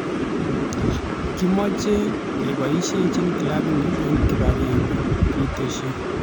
"Kemeche keboisieji klabini eng kibagenge." kitesyi.